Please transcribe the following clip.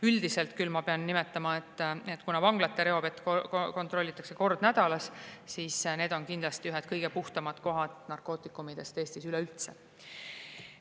Aga vanglate reovett kontrollitakse kord nädalas ja ma pean küll, et üldiselt on need kohad ühed kõige puhtamad narkootikumidest Eestis üleüldse.